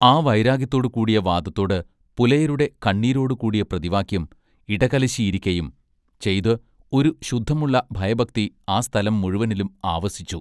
ആ വൈരാഗ്യത്തോടു കൂടിയ വാദത്തോടു പുലയരുടെ കണ്ണീരോടു കൂടിയ പ്രതിവാക്യം ഇടകലശിയിരിക്കയും ചെയ്തു ഒരു ശുദ്ധമുള്ള ഭയഭക്തി ആ സ്ഥലം മുഴവനിലും ആവസിച്ചു.